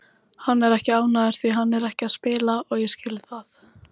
Hann er ekki ánægður því hann er ekki að spila og ég skil það.